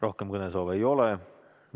Rohkem kõnesoove ei ole.